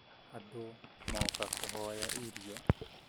Andũ moka kũhoya irio